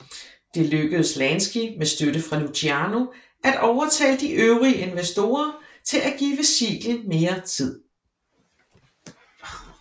Det lykkedes Lansky med støtte fra Luciano at overtale de øvrige investorer til at give Siegel mere tid